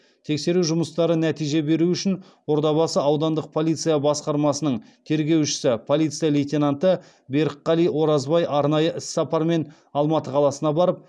тексеру жұмыстары нәтиже беру үшін ордабасы аудандық полиция басқармасының тергеушісі полиция лейтенанты берікқали оразбай арнайы іссапармен алматы қаласына барып